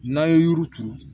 N'an ye yiri turu